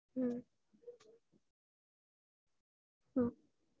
ஹ்ம் ஹ்ம்